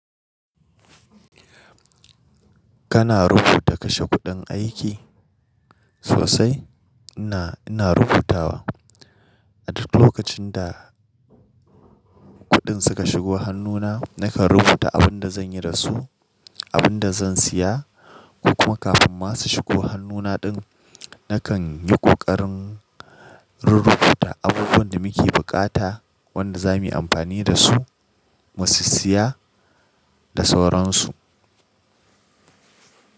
Kana rubuta kashe kuɗin aiki? Sosai ina, ina rubutawa. A duk lokacin da kuɗin suka shigo hannuna nakan rubuta abin da zan yi da su, abin da zan siya ko kuma kafin ma su shigo hannuna din nakan yi kokarin rurrubuta abubuwan da muke bukata wanda za mu yi amfani da su, mu sissiya da sauran su.